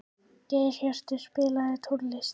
Geirhjörtur, spilaðu tónlist.